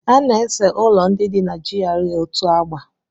A na-ese ụlọ ndị dị na GRA otu agba.